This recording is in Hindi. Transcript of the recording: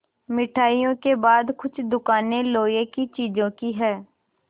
मिठाइयों के बाद कुछ दुकानें लोहे की चीज़ों की हैं